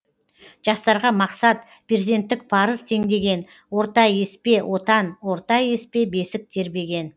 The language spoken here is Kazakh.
жастарға мақсат перзенттік парыз теңдеген орта еспе отан орта еспе бесік тербеген